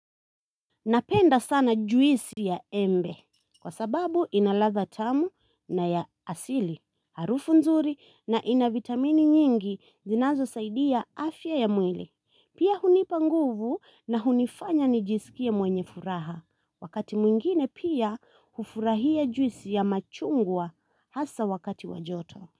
Napenda sana juisi ya embe. Kwa sababu inaradha tamu na ya asili, harufu nzuri na ina vitamini nyingi zinazosaidia afya ya mwili. Pia hunipa nguvu na hunifanya nijisikie mwenye furaha. Wakati mwingine pia hufurahia juisi ya machungwa hasa wakati wa joto.